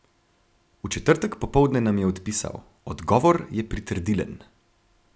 V četrtek popoldne nam je odpisal: "Odgovor je pritrdilen".